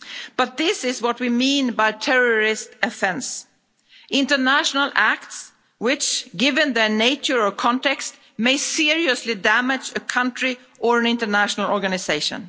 But this is what we mean by terrorist offence' international acts which, given their nature or context, may seriously damage a country or an international organisation.